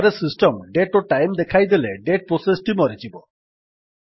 ଥରେ system date ଓ time ଦେଖାଇଦେଲେ ଡେଟ୍ ପ୍ରୋସେସ୍ ଟି ମରିଯିବ